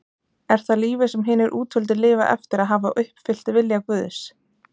Er það lífið sem hinir útvöldu lifa eftir að hafa uppfyllt vilja Guðs?